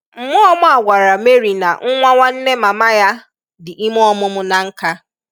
Mmụọ ọma a gwara Mary na nwa nwanne mama ya dị ime ọmụmụ na nkâ.